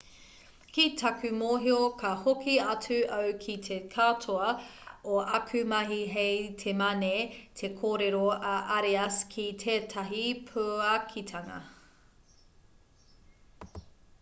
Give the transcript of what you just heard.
ki taku mōhio ka hoki atu au ki te katoa o āku mahi hei te mane te korero a arias ki tētahi puakitanga